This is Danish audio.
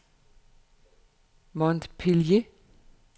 Montpellier